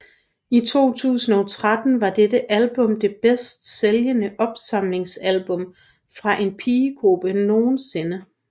I 2013 var dette album det bedst sælgende opsamlingsalbum fra en pigegruppe nogensinde